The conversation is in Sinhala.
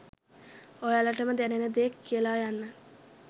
ඔයාලටම දැනෙන දේ කියල යන්න.